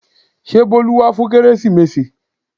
Ṣé Bolu wá fún kérésìmesì?